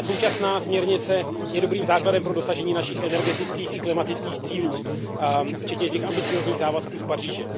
Ta současná směrnice je dobrým základem pro dosažení našich energetických i klimatických cílů, včetně těch ambiciózních závazků z Paříže.